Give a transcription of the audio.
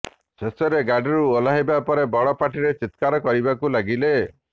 ଶେଷରେ ଗାଡ଼ିରୁ ଓହ୍ଲାଇବା ପରେ ବଡ଼ ପାଟିରେ ଚିତ୍କାର କରିବାକୁ ଲାଗିଲେ